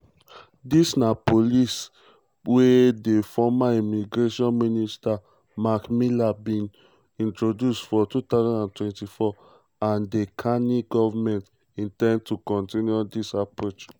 dis na policy wey di former immigration minister marc miller bin um introduce for 2024 and di carney govment in ten d to kontinue dis approach.